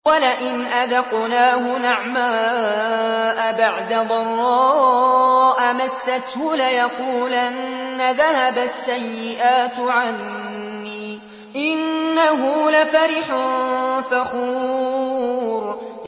وَلَئِنْ أَذَقْنَاهُ نَعْمَاءَ بَعْدَ ضَرَّاءَ مَسَّتْهُ لَيَقُولَنَّ ذَهَبَ السَّيِّئَاتُ عَنِّي ۚ إِنَّهُ لَفَرِحٌ فَخُورٌ